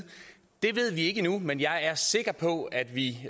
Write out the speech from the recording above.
ved vi ikke endnu men jeg er sikker på at vi